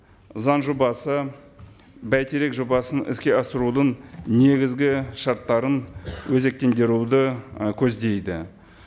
заң жобасы бәйтерек жобасын іске асырудың негізгі шарттарын өзектендіруді ы көздейді